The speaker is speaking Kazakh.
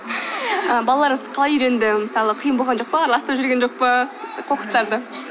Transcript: балаларыңыз қалай үйренді мысалы қиын болған жоқ па араластырып жіберген жоқ па қоқыстарды